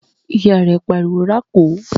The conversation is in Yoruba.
Ìyá rẹ̀ pariwo "rákò!"